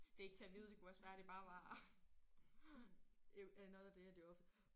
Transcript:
Det ikke til at vide det kunne også være det bare var another day at the office